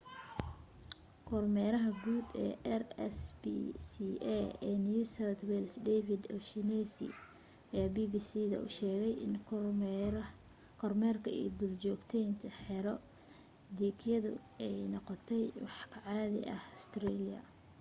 kormeeraha guud rspca ee new south wales david o'shannessy ayaa bbc da u sheegay in kormeerka iyo duljoogteynta xero dhiigyadu ay noqto wax ka caadi ah ustareeliya